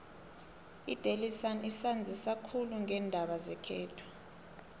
idaily sun isanzisa khulu ngeendaba zekhethu